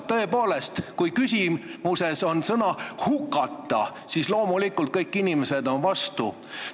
Tõepoolest, kui küsimuses on sees sõna "hukata", siis loomulikult on kõik inimesed vastu.